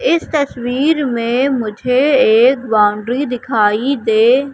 इस तस्वीर में मुझे एक बाउंड्री दिखाई दे--